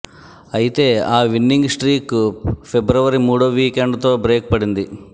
ఐతే ఆ విన్నింగ్ స్ట్రీక్కు ఫిబ్రవరి మూడో వీకెండ్తో బ్రేక్ పడింది